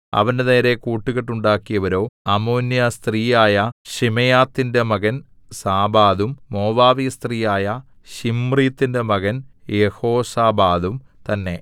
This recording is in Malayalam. അവന്റെനേരെ കൂട്ടുകെട്ടുണ്ടാക്കിയവരോ അമ്മോന്യസ്ത്രീയായ ശിമെയാത്തിന്റെ മകൻ സാബാദും മോവാബ്യസ്ത്രീയായ ശിമ്രീത്തിന്റെ മകൻ യെഹോസാബാദും തന്നേ